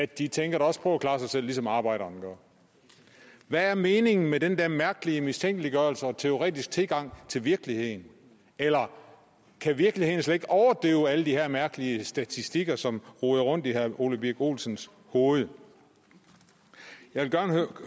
de tænker da også på at klare sig selv ligesom arbejderen gør hvad er meningen med den der mærkelige mistænkeliggørelse og teoretiske tilgang til virkeligheden eller kan virkeligheden slet ikke overdøve alle de her mærkelige statistikker som roder rundt i herre ole birk olsens hoved jeg vil gerne